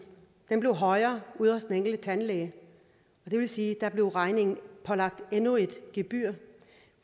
at lønsumsafgiften blev højere ude hos den enkelte tandlæge og det vil sige at der blev regningen pålagt endnu et gebyr